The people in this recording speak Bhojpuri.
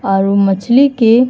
और उ मछली के --